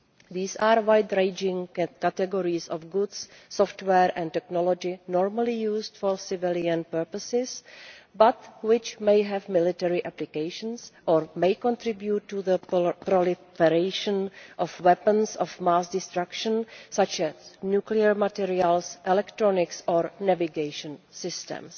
These are wide ranging categories of goods, software and technologies normally used for civilian purposes, but which may have military applications or may contribute to the proliferation of weapons of mass destruction, such as nuclear materials, electronics or navigation systems.